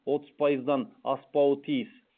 отыз пайыздан аспауы тиіс